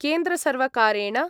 केन्द्रसर्वकारेण